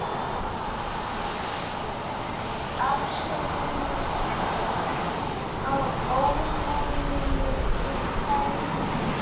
Baðst afsökunar á ónæðinu og færði mig.